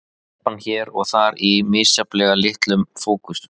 Telpan hér og þar í misjafnlega litlum fókus.